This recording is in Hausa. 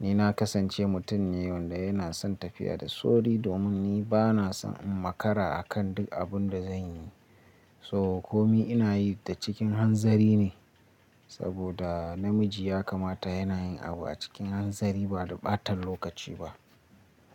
Ni na kasance mutum ne wanda yana son tafiya da sauri domin ni ba na son in makara akan duk abun da zan yi. To komi ina yi da cikin hanzari ne saboda namiji ya kamata yana yin abu a cikin hanzari ba da ɓatan lokaci ba.